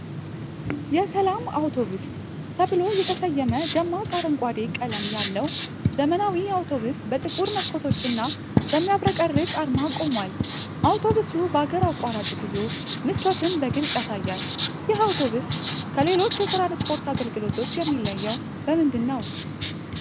የሰላም አውቶቡስ ተብሎ የተሰየመ፣ ደማቅ አረንጓዴ ቀለም ያለው ዘመናዊ አውቶቡስ በጥቁር መስኮቶችና በሚያብረቀርቅ አርማ ቆሟል። አውቶቡሱ በአገር አቋራጭ ጉዞ ምቾትን በግልፅ ያሳያል። ይህ አውቶቡስ ከሌሎች የትራንስፖርት አገልግሎቶች የሚለየው በምንድን ነው?